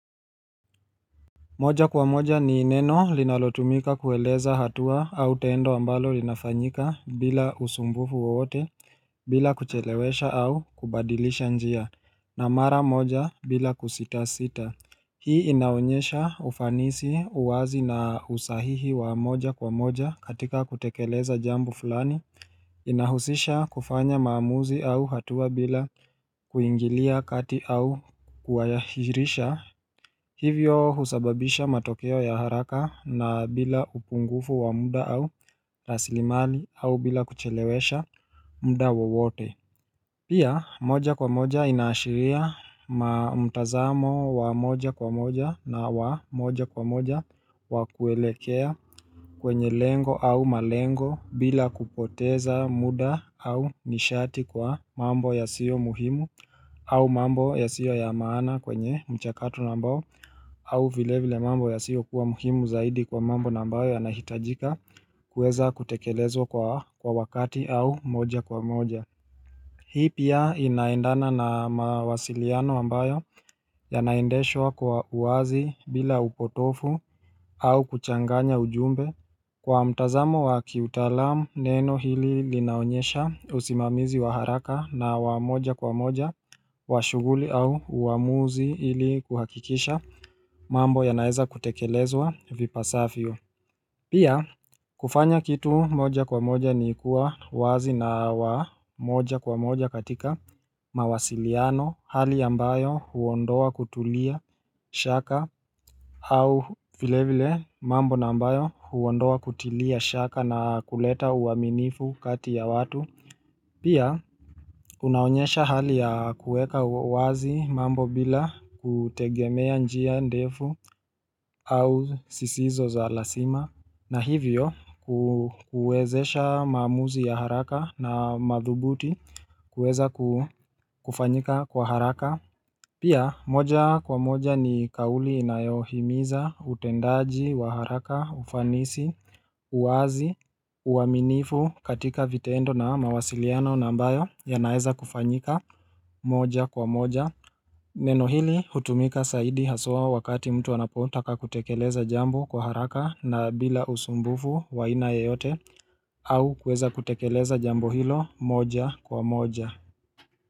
Moja kwa moja ni neno linalotumika kueleza hatua au tendo ambalo linafanyika bila usumbufu wowote bila kuchelewesha au kubadilisha njia na mara moja bila kusita sita Hii inaonyesha ufanisi uwazi na usahihi wa moja kwa moja katika kutekeleza jambo fulani inahusisha kufanya maamuzi au hatua bila kuingilia kati au kuwayahirisha Hivyo husababisha matokeo ya haraka na bila upungufu wa muda au rasilimali au bila kuchelewesha muda wowote Pia moja kwa moja inaashiria mtazamo wa moja kwa moja na wa moja kwa moja wakuelekea kwenye lengo au malengo bila kupoteza muda au nishati kwa mambo yasio muhimu au mambo yasio ya maana kwenye mchakato na ambao au vile vile mambo yasio kuwa muhimu zaidi kwa mambo na ambao yanahitajika kuweza kutekelezwa kwa wakati au moja kwa moja Hii pia inaendana na mawasiliano ambayo yanaendeshwa kwa uwazi bila upotofu au kuchanganya ujumbe Kwa mtazamo wa kiutaalam neno hili linaonyesha usimamizi wa haraka na wa moja kwa moja wa shuguli au uwamuzi ili kuhakikisha mambo yanaeza kutekelezwa vipasafio Pia kufanya kitu moja kwa moja ni kua wazi na wa moja kwa moja katika mawasiliano hali ambayo huondoa kutulia shaka au vilevile mambo na ambayo huondoa kutulia shaka na kuleta uwaminifu kati ya watu Pia, unaonyesha hali ya kuweka uwazi mambo bila kutegemea njia ndefu au sisizo za lasima na hivyo kuezesha maamuzi ya haraka na madhubuti kueza kufanyika kwa haraka. Pia, moja kwa moja ni kauli inayohimiza, utendaji, wa haraka, ufanisi, uwazi, uwaminifu katika vitendo na mawasiliano na ambayo yanaeza kufanyika moja kwa moja. Neno hili, hutumika saidi haswa wakati mtu anapotaka kutekeleza jambo kwa haraka na bila usumbufu wa aina yeyote au kueza kutekeleza jambo hilo moja kwa moja.